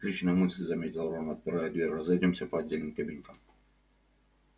отличная мысль заметил рон отпирая дверь разойдёмся по отдельным кабинкам